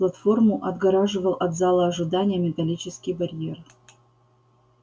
платформу отгораживал от зала ожидания металлический барьер